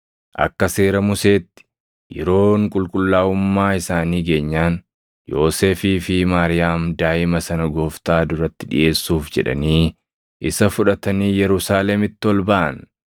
Akka Seera Museetti yeroon qulqullaaʼummaa isaanii geenyaan Yoosefii fi Maariyaam daaʼima sana Gooftaa duratti dhiʼeessuuf jedhanii isa fudhatanii Yerusaalemitti ol baʼan.